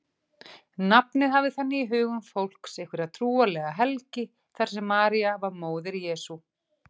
Nafnið hafði þannig í hugum fólks einhverja trúarlega helgi þar sem María var móðir Jesú.